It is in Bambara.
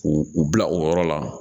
U u bila o yɔrɔ la